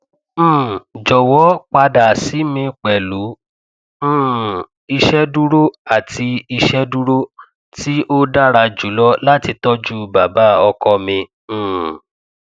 um jọwọ pada si mi pẹlu um iṣeduro ti iṣeduro ti o dara julọ lati tọju baba ọkọ mi um